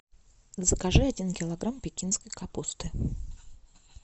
закажи один килограмм пекинской капусты